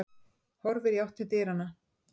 Horfir í átt til dyranna.